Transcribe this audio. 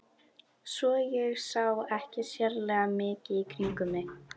Svo ég sá ekki sérlega mikið í kringum mig.